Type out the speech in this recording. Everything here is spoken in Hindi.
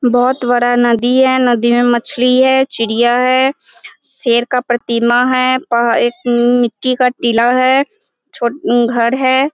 बहुत बड़ा नदी है नदी में मछली है चिड़िया है शेर का प्रतिमा है एक मिट्टी का टीला है घर है ।